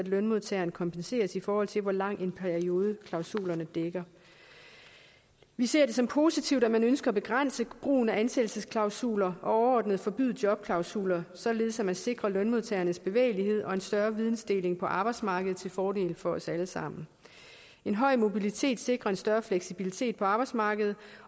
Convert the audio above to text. lønmodtageren kompenseres i forhold til hvor lang en periode klausulerne dækker vi ser det som positivt at man ønsker at begrænse brugen af ansættelsesklausuler og overordnet forbyde jobklausuler således at man sikrer lønmodtagernes bevægelighed og en større videndeling på arbejdsmarkedet til fordel for os alle sammen en høj mobilitet sikrer en større fleksibilitet på arbejdsmarkedet